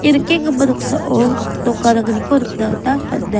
ia nikenggipa noksao nok gadanggniko nikna gita man·a.